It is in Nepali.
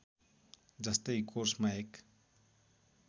जस्तै कोर्समा एक